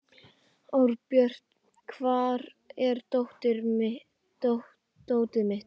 Árbjört, hvar er dótið mitt?